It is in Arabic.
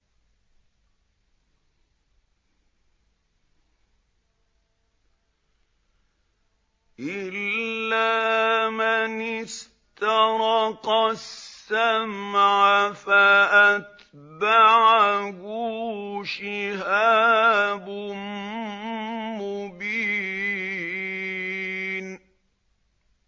إِلَّا مَنِ اسْتَرَقَ السَّمْعَ فَأَتْبَعَهُ شِهَابٌ مُّبِينٌ